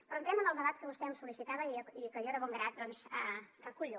però entrem en el debat que vostè em sol·licitava i que jo de bon grat doncs recullo